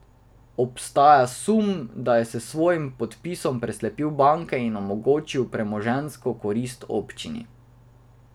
Obstaja sum, da je s svojim podpisom preslepil banke in omogočil premoženjsko korist občini.